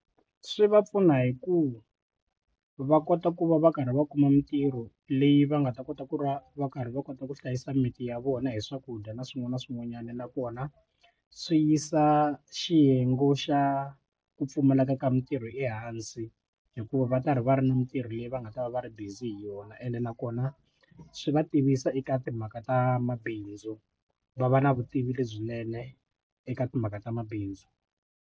Swi va pfuna hi ku va kota ku va va karhi va kuma mitirho leyi va nga ta kota ku va va karhi va kota ku hlayisa mimiti ya vona hi swakudya na swin'wana na swin'wanyana nakona swi yisa xiyenge xa ku pfumaleka ka mitirho ehansi hikuva va karhi va ri na mitirho leyi va nga ta va va ri busy hi yona ene nakona swi va tivisa eka timhaka ta mabindzu va va na vutivi lebyinene eka timhaka ta mabindzu.